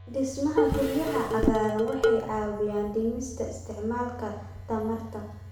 Dhismaha guryaha cagaaran waxay caawiyaan dhimista isticmaalka tamarta.